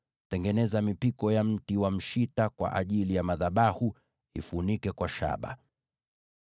Tengeneza mipiko ya mti wa mshita kwa ajili ya madhabahu, na uifunike kwa shaba.